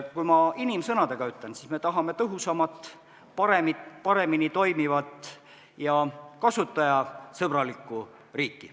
Kui ma inimsõnadega ütlen, siis me tahame tõhusamat, paremini toimivat ja kasutajasõbralikku riiki.